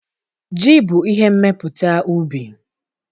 Ji bụ ihe mmepụta ubi.